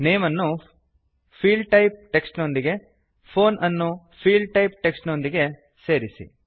name ಅನ್ನು field type text ನೊಂದಿಗೆ phone ಅನ್ನು ಫೀಲ್ಡ್ಟೈಪ್ ಟೆಕ್ಸ್ಟ್ ನೊಂದಿಗೆ ಸೇರಿಸಿ